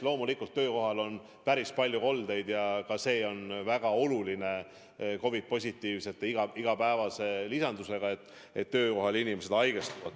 Loomulikult töökohal on päris palju koldeid ja see on väga oluline teave COVID-positiivsete igapäevase lisanduse kohta, et töökohal inimesed haigestuvad.